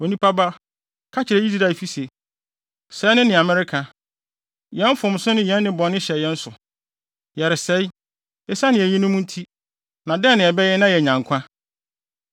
“Onipa ba, ka kyerɛ Israelfi se: ‘Sɛɛ ne nea moreka: “Yɛn mfomso ne yɛn nnebɔne hyɛ yɛn so, yɛresɛe, esiane eyinom nti. Na dɛn na yɛbɛyɛ na yɛanya nkwa?” ’